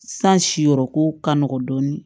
San si yɔrɔ ko ka nɔgɔn dɔɔnin